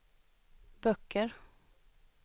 böcker